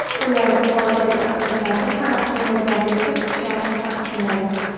Ular yuqoridagi asoslarga qarab tayyorgarlikka kuchlarini taqsimlaydi.